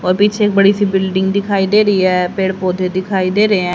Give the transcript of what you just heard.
और पीछे एक बड़ी सी बिल्डिंग दिखाई दे रही है पेड़ पौधे दिखाई दे रहे हैं।